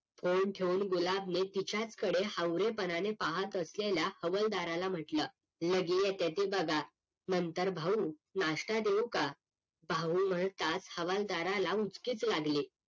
phone ठेऊन गुलाब ने तिच्याच कडे हावरे पणाने पाहत असलेल्या हवलदाराला म्हटलं लगेय येताय ते बघा नंतर भाऊ नाश्ता देऊ का भाऊ म्हणताच हवलदाराला उचकीच लागली